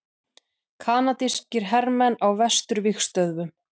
Kanadískir hermenn á vesturvígstöðvunum.